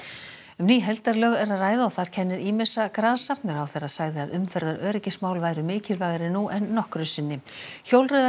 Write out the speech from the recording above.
um ný heildarlög er að ræða og þar kennir ýmissa grasa ráðherra sagði að umferðaröryggismál væru mikilvægari nú en nokkru sinni